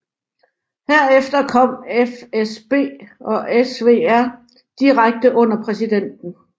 Herefter kom FSB og SVR direkte under præsidenten